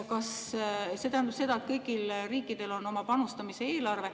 See tähendab seda, et kõigil riikidel on oma panustamise eelarve.